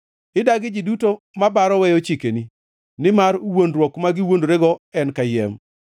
Idagi ji duto mabaro weyo chikeni, nimar wuondruok ma giwuondorego en kayiem.